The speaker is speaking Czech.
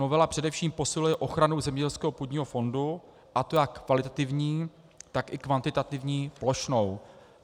Novela především posiluje ochranu zemědělského půdního fondu, a to jak kvalitativní, tak i kvantitativní, plošnou.